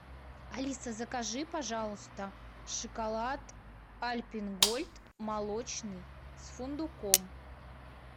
алиса закажи пожалуйста шоколад альпен гольд молочный с фундуком